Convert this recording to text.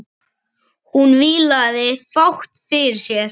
Hún vílaði fátt fyrir sér.